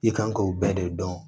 I kan k'o bɛɛ de dɔn